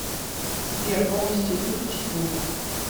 сбер полностью выключи звук